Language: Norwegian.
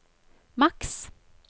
maks